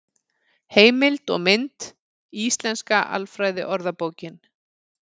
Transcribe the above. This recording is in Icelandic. Heimild og mynd: Íslenska alfræðiorðabókin.